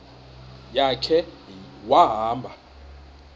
ya khe wahamba